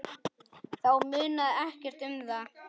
Þá munaði ekkert um það.